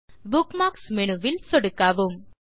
இப்போது bookmarks menu ல் சொடுக்கவும்